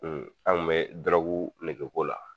an ŋun bɛ dɔrɔgu nege ko la